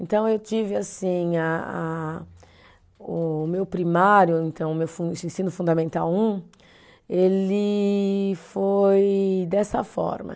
Então, eu tive assim, a a, o meu primário então, o meu fun, ensino fundamental um, ele foi dessa forma.